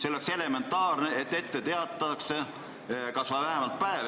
On elementaarne, et muudatustest vähemalt üks päev ette teatatakse.